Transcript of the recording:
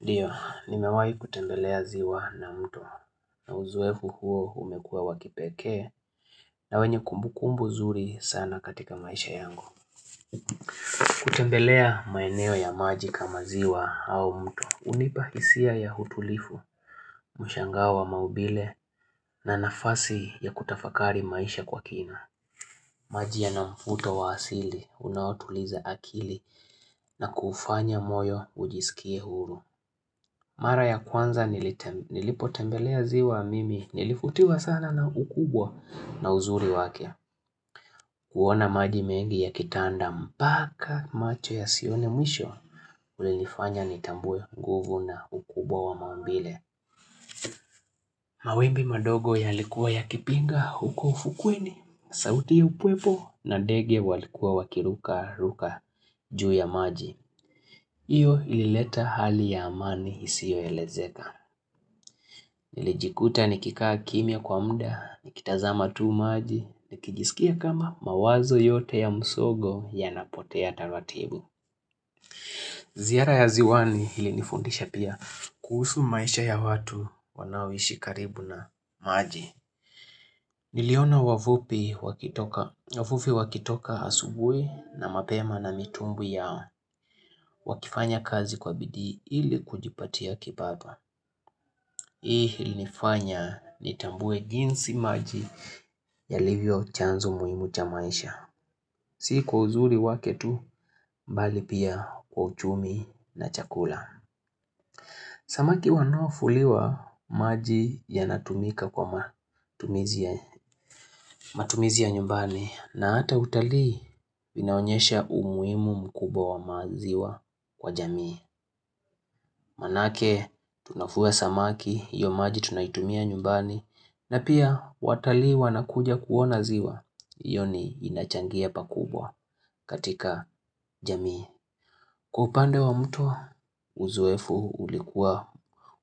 Ndiyo, nimewahi kutembelea ziwa na mtu na uzoefu huo umekuwa wakipekee na wenye kumbukumbu nzuri sana katika maisha yangu. Kutembelea maeneo ya maji kama ziwa au mtu hunipa hisia ya utulifu, mshangao wa maubile na nafasi ya kutafakari maisha kwa kina. Maji yana mvuto wa asili unaotuliza akili na kufanya moyo ujisikie huru. Mara ya kwanza nilipotembelea ziwa mimi nilivutiwa sana na ukubwa na uzuri wake. Kuona maji mengi yakitanda mpaka macho yasione mwisho ulinifanya nitambue nguvu na ukubwa wa maumbile. Mawimbi madogo yalikuwa yakipinga huko ufukweni, sauti ya upepo na ndege walikuwa wakirukaruka juu ya maji. Hiyo ilileta hali ya amani isiyoelezeka. Niliikuta nikikaa kimya kwa muda, nikitazama tu maji, nikijisikia kama mawazo yote ya msongo yanapotea taratibu. Ziara ya ziwani ilinifundisha pia kuhusu maisha ya watu wanaoishi karibu na maji. Niliona wavuvi wakitoka asubuhi na mapema na mitumbwi yao wakifanya kazi kwa bidi ili kujipatia kipato Hii ilinifanya nitambue jinsi maji yalivyo chanzo muhimu cha maisha Si kwa uzuri wake tu, mbali pia kwa uchumi na chakula Samaki wanaovuliwa maji yanatumika kwa matumizi ya nyumbani na hata utalii vinaonyesha umuhimu mkubwa wa maziwa kwa jamii. Maanake tunafua samaki, hiyo maji tunaitumia nyumbani na pia watalii wanakuja kuona ziwa, hiyo ni inachangia pakubwa katika jamii. Kwa upande wa mto, uzoefu ulikuwa.